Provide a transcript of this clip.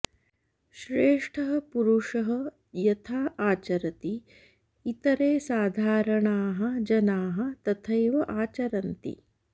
श्रेष्ठः पुरुषः यथा आचरति इतरे साधारणाः जनाः तथैव आचरन्ति